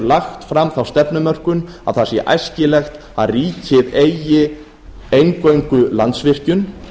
lagt fram þá stefnumörkun að það sé æskilegt að ríkið eigi eingöngu landsvirkjun